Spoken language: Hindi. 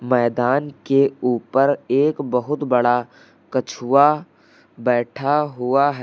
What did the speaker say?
मैदान के ऊपर एक बहुत बड़ा कछुआ बैठा हुआ है।